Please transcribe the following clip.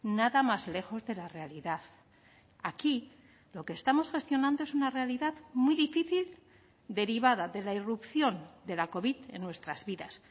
nada más lejos de la realidad aquí lo que estamos gestionando es una realidad muy difícil derivada de la irrupción de la covid en nuestras vidas